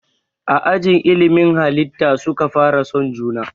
A ajin ilimin halitta suka fara son juna